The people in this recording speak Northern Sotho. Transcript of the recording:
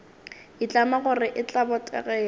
itlama gore e tla botegela